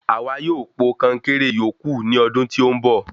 Àwa yóò po konkéré ìyókù ní ọdún tí ó ń bọ̀